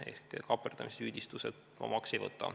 Ehk kaaperdamissüüdistusi omaks ei võta.